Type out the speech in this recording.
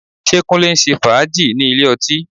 Ṣé Kúnlé ń ṣe fàájì ní ilé ọtí?